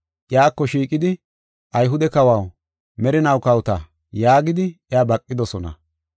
Iyako shiiqidi, “Ayhude kawaw, merinaw kawota” yaagidi iya baqidosona.